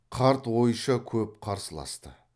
қарт ойша көп қарсыласты